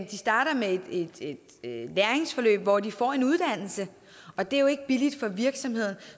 de starter med et læringsforløb hvor de får en uddannelse og det er jo ikke billigt for virksomheden